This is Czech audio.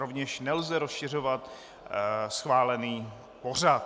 Rovněž nelze rozšiřovat schválený pořad.